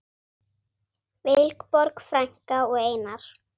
Vilborg frænka og Einar.